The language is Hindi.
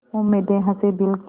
उम्मीदें हसें दिल की